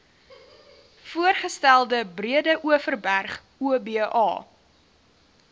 voorgestelde breedeoverberg oba